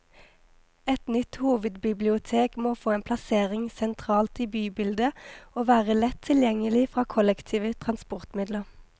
Et nytt hovedbibliotek må få en plassering sentralt i bybildet, og være lett tilgjengelig fra kollektive transportmidler.